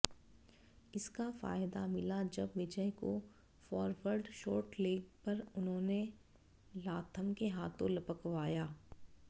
इसका फायदा मिला जब विजय को फॉरवर्ड शॉर्ट लेग पर उन्होंने लाथम के हाथों लपकवाया